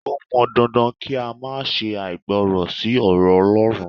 O pọn dandan kí a má ṣe àìgbọràn sí ọ̀rọ̀ Ọlọ́run.